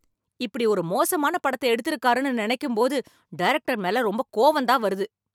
இப்படி ஒரு மோசமான படத்த எடுத்துருக்காருன்னு நினைக்கும்போது டைரக்டர் மேல ரொம்ப கோவந்தான் வருது